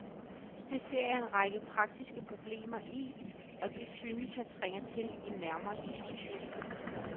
Det ser jeg en række praktiske problemer i, og det synes jeg trænger til en nærmere diskussion.